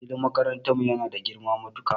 Filin makarantan mu yana da girma matuka